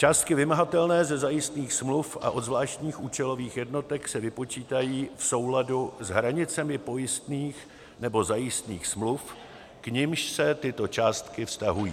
Částky vymahatelné ze zajistných smluv a od zvláštních účelových jednotek se vypočítají v souladu s hranicemi pojistných nebo zajistných smluv, k nimž se tyto částky vztahují.